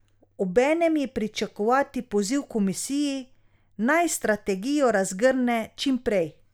Obenem je pričakovati poziv komisiji, naj strategijo razgrne čim prej.